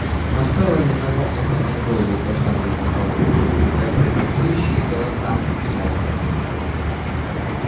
но стоило незнакомцу поднять голову и посмотреть на толпу как протестующие голоса смолкли